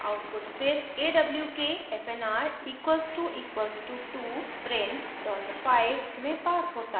output फिर awk fnr == 2 {print $5} में passed होता है